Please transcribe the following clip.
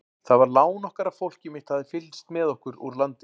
Það var lán okkar að fólkið mitt hafði fylgst með okkur úr landi.